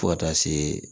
Fo ka taa se